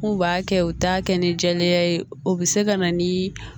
N'u b'a kɛ u t'a kɛ ni jɛlenya ye o bɛ se ka na ni